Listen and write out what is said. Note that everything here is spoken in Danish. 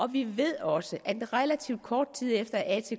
vi ved også at relativt kort tid efter at